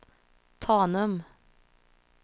Tanum